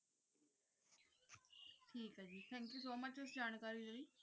thank you so much ਜਾਣਕਾਰੀ ਲੈ